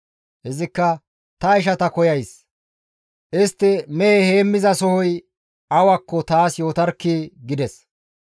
Izikka, «Ta ishata koyays; istti mehe heemmizasohoy awakko taas yootarkkii!» gides.